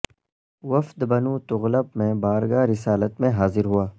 وفد بنو تغلب ھ میں بارگاہ رسالت میں حاضر ہوا